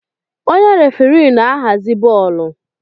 Onye referii na-ahazi bọọlụ.